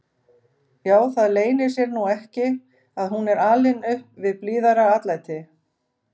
Já, það leynir sér nú ekki að hún er alin upp við blíðara atlæti.